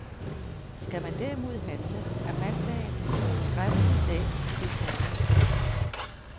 Skal man derimod handle, er mandagen en fortræffelig dag til det formål.